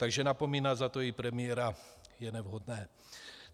Takže napomínat za to i premiéra je nevhodné.